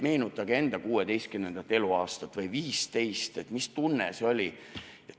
Meenutage enda 16. või 15. eluaastat, mis tunne see oli!